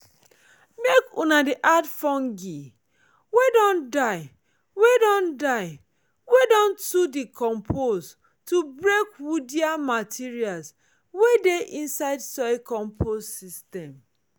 make una add fungi wey don die wey don die wey don too decompose to break woodier materials wey dey inside soil compost system.